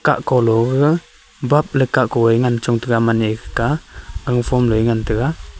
kahko low thega bap le kakko e ngan chong tega aman a ikha keh a ganphon lo a ngan tega.